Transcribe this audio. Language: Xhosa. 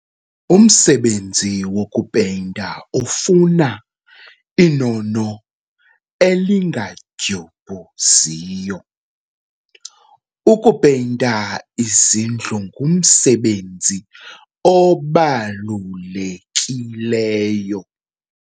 Umsebenzi wokupeyinta ufuna inono elingadyubhuziyo. ukupeyinta izindlu ngumsebenzi obalulekileyo